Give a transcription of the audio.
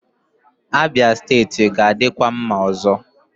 Abia steeti ga-adịkwa mma ọzọ.